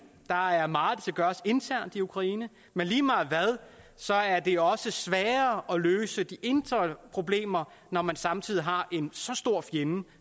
der er meget der skal gøres internt i ukraine men lige meget hvad så er det også sværere at løse de indre problemer når man samtidig har en så stor fjende